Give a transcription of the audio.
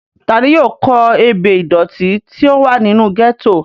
ta ni yóò kó ebè ìdòtí tí ó wà nínú gẹ́tò?